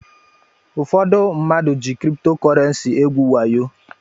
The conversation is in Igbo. Ụfọdụ mmadụ jị kripto kọrensi egwu wayo.